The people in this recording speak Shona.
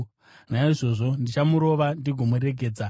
Naizvozvo, ndichamurova ndigomuregedza.”